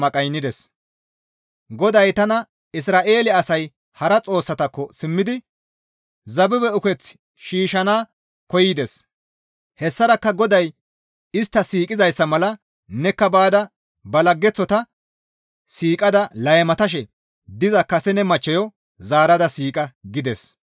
GODAY tana, «Isra7eele asay hara xoossatakko simmidi zabibe ukeththi shiishshana koyides; hessarakka GODAY istta siiqizayssa mala nekka baada ba laggeththota siiqada laymatashe diza kase ne machcheyo zaarada siiqa» gides.